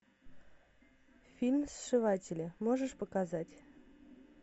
фильм сшиватели можешь показать